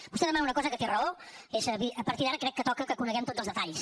vostè demana una cosa en què té raó és a dir a partir d’ara crec que toca que coneguem tots els detalls